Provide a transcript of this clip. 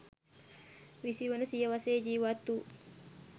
විසිවන සියවසේ ජීවත් වූ